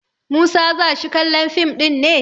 Musa za shi kallon fim ɗin ne?